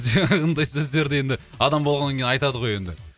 жаңағындай сөздерді енді адам болғаннан кейін айтады ғой енді